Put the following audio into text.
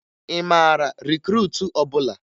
Ị mara rikruutu ọbụla?